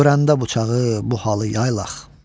Görəndə bıçağı bu halı yaylaq.